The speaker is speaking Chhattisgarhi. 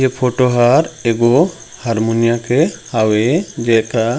ए फोटो हर एगो हारमोनिया के हावे जेकर--